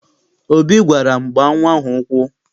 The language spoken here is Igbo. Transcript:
Obi gwara m, gbaa nnwa ahụ ụkwụ!